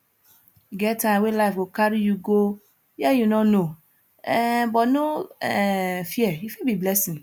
e get time wey life go carry you go where you no know um but no um fear e fit be blessing